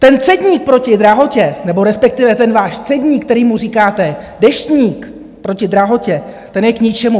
Ten cedník proti drahotě, nebo respektive ten váš cedník, kterému říkáte Deštník proti drahotě, ten je k ničemu.